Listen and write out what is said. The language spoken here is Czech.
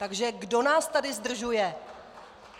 Takže kdo nás tady zdržuje?